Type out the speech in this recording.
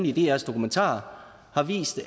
i drs dokumentar har vist